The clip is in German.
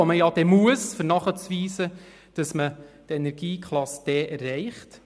Doch man tut es dann, um nachzuweisen, dass man die Energieklasse D erreicht.